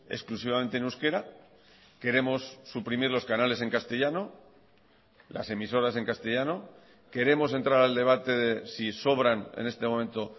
exclusivamente en euskera queremos suprimir los canales en castellano las emisoras en castellano queremos entrar al debate si sobran en este momento